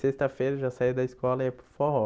Sexta-feira já saía da escola e ia para o forró.